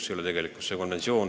See ei ole tegelikkus!